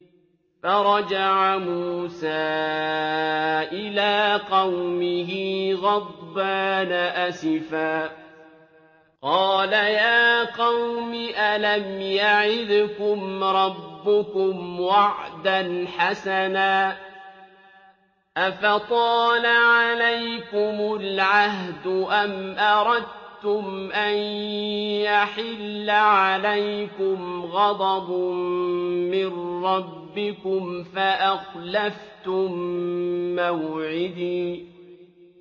فَرَجَعَ مُوسَىٰ إِلَىٰ قَوْمِهِ غَضْبَانَ أَسِفًا ۚ قَالَ يَا قَوْمِ أَلَمْ يَعِدْكُمْ رَبُّكُمْ وَعْدًا حَسَنًا ۚ أَفَطَالَ عَلَيْكُمُ الْعَهْدُ أَمْ أَرَدتُّمْ أَن يَحِلَّ عَلَيْكُمْ غَضَبٌ مِّن رَّبِّكُمْ فَأَخْلَفْتُم مَّوْعِدِي